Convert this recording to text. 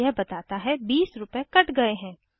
यह बताता है 20 रूपए कट गए हैं